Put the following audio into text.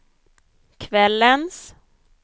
kvällens